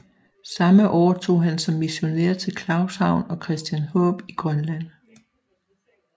Samme år tog han som missionær til Claushavn og Christianshåb i Grønland